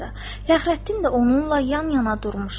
Fəxrəddin də onunla yan-yana durmuşdu.